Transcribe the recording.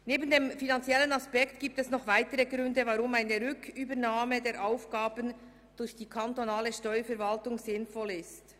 Neben dem finanziellen Aspekt gibt es noch weitere Gründe, weshalb eine Rücknahme der Aufgabendelegierung durch die kantonale Steuerverwaltung sinnvoll ist.